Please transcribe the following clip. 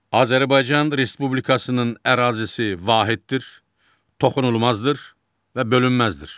Azərbaycan Respublikasının ərazisi vahiddir, toxunulmazdır və bölünməzdir.